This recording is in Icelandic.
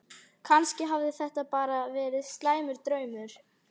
Kannski hafði þetta bara verið slæmur draumur.